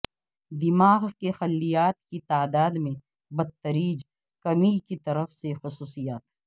دماغ کے خلیات کی تعداد میں بتدریج کمی کی طرف سے خصوصیات